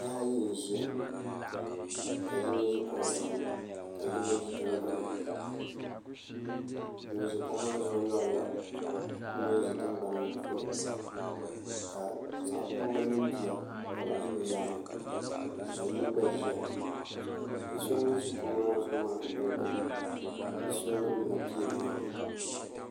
Bihi ayi n ʒiya ka yino ʒi kuɣu zuɣu ka yino ʒi tingbanni ŋun ʒi kuɣu maa zuɣu lorila ŋun ʒi tingbani ŋo puuni ka zaɣ kurili mini bia ka bi ʒi bi nyaanga ka yili gba ʒiya bia so ŋun ʒi kuɣu maa zuɣu maa gbali gbuni bia so ningbuna piɛri yirina